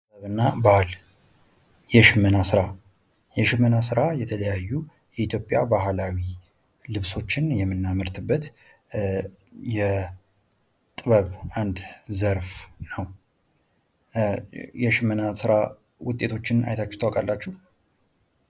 ጥበብ እና ባህል የሽመና ስራ የሽመና ስራ የተለያዩ የኢትዮጵያ ባህላዊ ልብሶችን የምናመርትበት የጥበብ አንድ ዘርፍ ነው። የሽመና ስራ ውጤቶችን አይታችሁ ታውቃላችሁ?